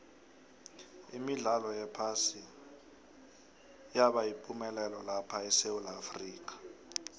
imidlalo yephasi yabayipumelelo lapha esewula afrika